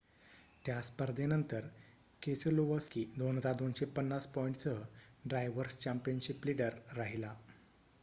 त्या स्पर्धेनंतर केसेलोवस्की 2,250 पॉईंटसह ड्रायवर्स चँपियनशिप लिडर राहिला